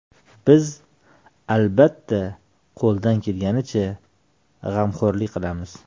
Biz, albatta, qo‘ldan kelgancha g‘amxo‘rlik qilamiz.